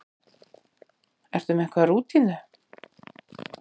Ertu með einhverja rútínu?